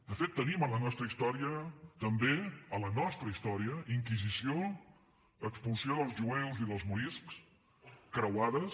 de fet tenim en la nostra història també a la nostra història inquisició expulsió dels jueus i dels moriscs croades